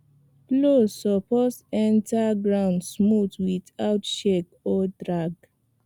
plow suppose enter ground smooth without shake or drag